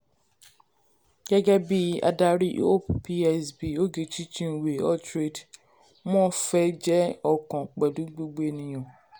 gẹ́gẹ́ bí adarí hope psb ogechi chinwe altraide mo fẹ́ jẹ́ ọ̀kan pẹ̀lú gbogbo ènìyàn.